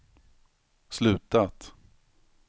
slutat